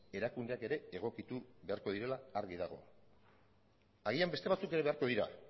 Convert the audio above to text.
erakundeak ere egokitu beharko direla argi dago agian beste batzuk ere beharko dira